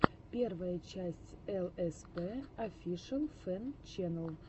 первая часть элэспэ офишэл фэн чэнэл